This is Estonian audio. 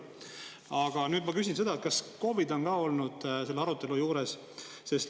Aga nüüd ma küsin, kas KOV-id on ka olnud selle arutelu juures.